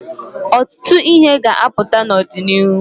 Ọtụtụ ihe ga-aputa n'ọdịnịhu.